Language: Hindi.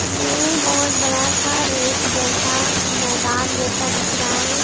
यह बहुत बड़ा सा रेत जैसा मैदान जैसा दिख रहा है।